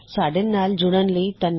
ਸਾੱਡੇ ਨਾਲ ਜੁੜਨ ਲਈ ਸ਼ੁਕਰਿਆ